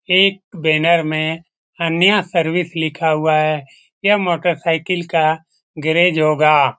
एक बैनर में कन्या सर्विस लिखा हुआ है यह मोटर साइकिल का गैरेज होगा।